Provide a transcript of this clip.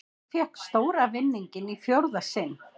Fékk stóra vinninginn í fjórða sinn